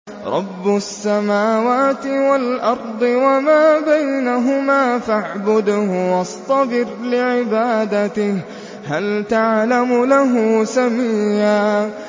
رَّبُّ السَّمَاوَاتِ وَالْأَرْضِ وَمَا بَيْنَهُمَا فَاعْبُدْهُ وَاصْطَبِرْ لِعِبَادَتِهِ ۚ هَلْ تَعْلَمُ لَهُ سَمِيًّا